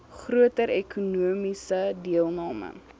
groter ekonomiese deelname